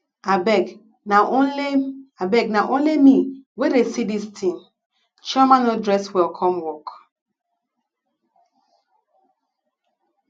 abeg na only abeg na only me wey dey see dis thing chioma no dress well come work